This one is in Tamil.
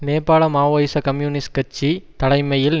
நேபாள மாவோயிச கம்யூனிஸ்ட் கட்சி தலைமையில்